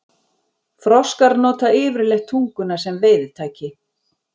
Froskar nota yfirleitt tunguna sem veiðitæki.